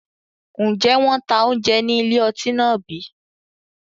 Ǹjẹ́ wọn tá oúnjẹ ní ilé ọtí náà bí?